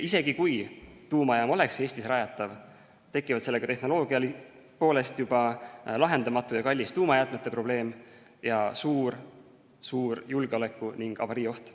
Isegi kui tuumajaam oleks Eestis rajatav, tekiks sellega tehnoloogia poolest juba lahendamatu ja kallis tuumajäätmete probleem ning suur julgeoleku- ja avariioht.